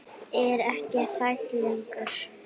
Er ekki hrædd lengur.